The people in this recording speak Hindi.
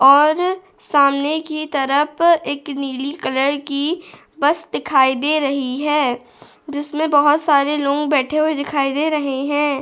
और सामने की तरफ एक नीली कलर की बस दिखाई दे रही है जिसमें बहुत सारे लोग बैठे हुए दिखाई दे रहे हैं।